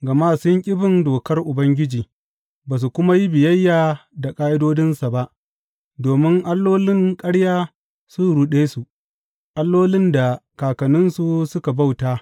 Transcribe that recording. Gama sun ƙi bin dokar Ubangiji ba su kuma yi biyayya da ƙa’idodinsa ba, domin allolin ƙarya sun ruɗe su, allolin da kakanninsu suka bauta.